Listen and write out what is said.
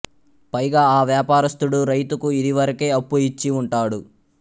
పైగా ఆ వ్వాపారస్థుడు రైతుకు ఇదివరకే అప్పు ఇచ్చి వుంటాడు